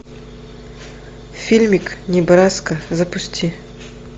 фильмик небраско запусти